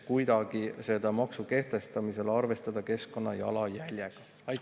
Kas selle maksu kehtestamisel planeeritakse kuidagi arvestada keskkonnajalajäljega?